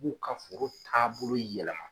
b'u ka foro taabolo yɛlɛma.